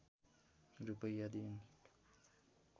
रूपैयाँ दिइन्